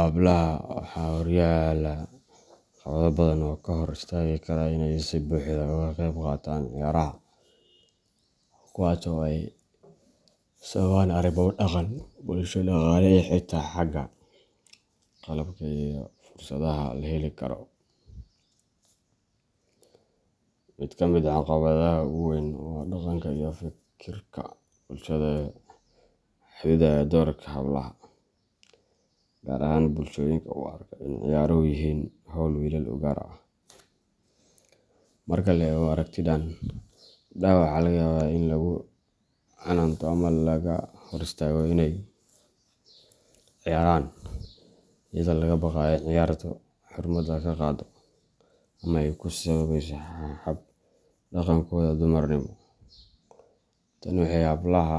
Hablaha waxaa horyaalla caqabado badan oo ka hor istaagi kara inay si buuxda uga qeyb qaataan ciyaaraha, kuwaas oo ay sababaan arrimo dhaqan, bulsho, dhaqaale, iyo xitaa xagga qalabka iyo fursadaha la heli karo. Mid ka mid ah caqabadaha ugu weyn waa dhaqanka iyo fikirka bulshada ee xaddidaya doorka hablaha, gaar ahaan bulshooyinka u arka in ciyaaruhu yihiin hawl "wiilal u gaar ah." Marka la eego aragtidan, gabdhaha waxaa laga yaabaa in lagu canaanto ama laga hor istaago inay ciyaaraan, iyadoo laga baqayo in ciyaartu “xurmada ka qaado” ama ay ku saameyso hab-dhaqankooda dumarnimo. Tani waxay hablaha